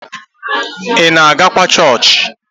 Ị na-agakwa chọọchị?